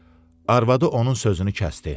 arvadı onun sözünü kəsdi.